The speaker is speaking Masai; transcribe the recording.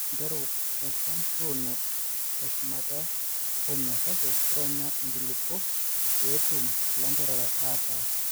ore intereu eshan tuuno teshumata penyo kake ironya inkulupuok pee etum ilanterera aataa